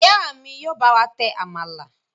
Ìyá mi yóò bá wà tẹ àmàlà.